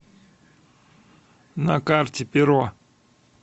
на карте перо